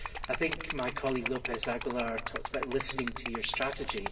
I think my colleague Mr López Aguilar talked about listening to your strategy.